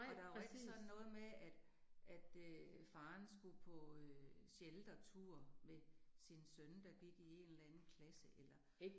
Og der var ikke sådan noget med at at øh faren skulle på øh sheltertur med sin søn, der gik i en eller anden klasse eller